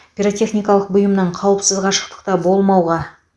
пиротехникалық бұйымнан қауіпсіз қашықтықта болмауға